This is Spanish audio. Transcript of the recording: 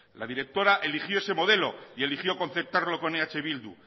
la directora eligió ese modelo y eligió concertarlo en eh bildu